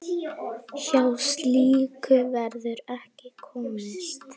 Hjá slíku verður ekki komist.